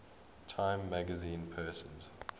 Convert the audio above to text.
time magazine persons